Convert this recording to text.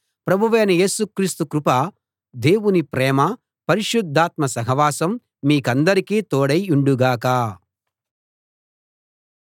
ప్రభువైన యేసు క్రీస్తు కృప దేవుని ప్రేమ పరిశుద్ధాత్మ సహవాసం మీకందరికీ తోడై యుండుగాక